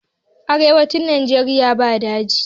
Arewacin nageria ba daji